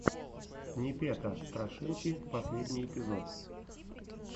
непета страшилки последний эпизод